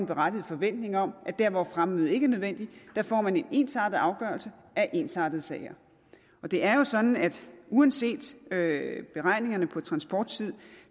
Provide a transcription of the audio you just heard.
berettiget forventning om at der hvor fremmøde ikke er nødvendigt får man en ensartet afgørelse af ensartede sager det er jo sådan at uanset beregningerne på transporttid